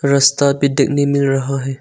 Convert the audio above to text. रास्ता भी देखने मिल रहा है।